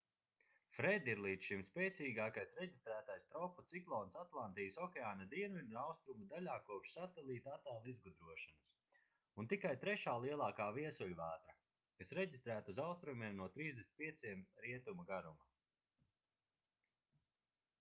fred ir līdz šim spēcīgākais reģistrētais tropu ciklons atlantijas okeāna dienvidu un austrumu daļā kopš satelītattēlu izgudrošanas un tikai trešā lielākā viesuļvētra kas reģistrēta uz austrumiem no 35° r g